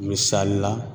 Misali la